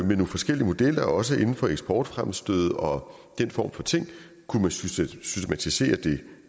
nogle forskellige modeller også inden for eksportfremstød og den form for ting og kunne man systematisere det